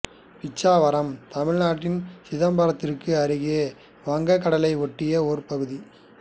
பிச்சாவரம் தமிழ்நாட்டில் சிதம்பரத்துக்கு அருகே வங்கக் கடலை ஒட்டிய ஒரு பகுதி